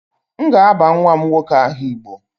M ga-aba nwa m nwoke aha igbo